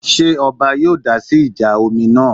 Ṣé ọba yóò dásí ìjà omi náà?